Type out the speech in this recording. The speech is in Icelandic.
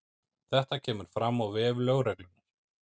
Þetta kemur fram á vef lögreglunnar